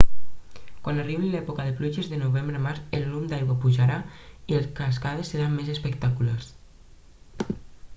quan arribi l'època de pluges de novembre a març el volum d'aigua pujarà i les cascades seran més espectaculars